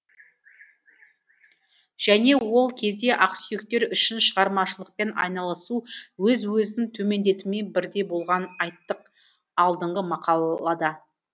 және ол кезде ақсүйектер үшін шығармашылықпен айналысу өз өзін төмендетумен бірдей болғанын айттық алдыңғы мақалада